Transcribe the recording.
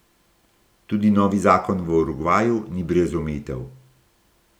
Tudi novi zakon v Urugvaju ni brez omejitev.